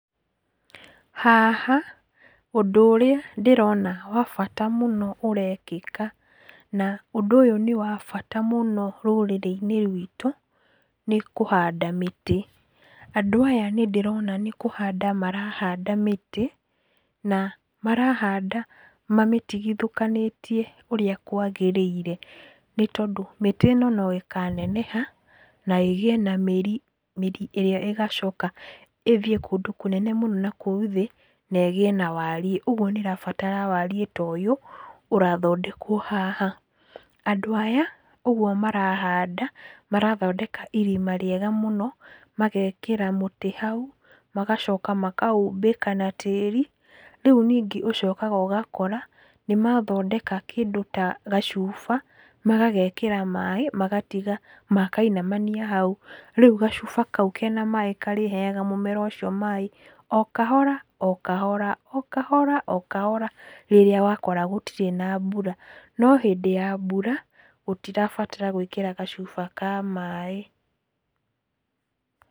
Haha ũndũ ũrĩa ndĩrona wa bata mũno ũrekĩka, na ũndũ ũyũ nĩ wa bata mũno rũrĩrĩ-inĩ rwĩtũ nĩ kũhanda mĩtĩ. Andũ aya nĩndĩrona nĩ kũhanda marahanda mĩtĩ, na marahanda mamĩtigithũkanĩtie ũrĩa kwagĩrĩire nĩtondũ mĩtĩ ĩno no ĩkaneneha na ĩgĩe na mĩrĩ, mĩrĩ ĩrĩa ĩgacoka ĩthiĩ kũndũ kũnene mũno nakũu thĩ negĩe na wariĩ, ũgwo nĩrabatara wariĩ ta ũyũ ũrathondekwo haha. Andũ aya ũgwo marahanda, marathondeka irima rĩega mũno magekĩra mũtĩ hau magacoka makaumbĩka na tĩĩri, rĩu ningĩ ũcokaga ũgakora nĩmathondeka kĩndũ ta gacuba, magagekĩra maaĩ, magatiga makainamania hau . Rĩu gacuba kau kena maaĩ karĩheyaga mũmera ũcio maaĩ o kahora, o kahora, o kahora, o kahora rĩrĩa wakora gũtirĩ na mbura. No hĩndĩ ya mbura gũtirabatara gwĩkĩra gacuba ka maaĩ.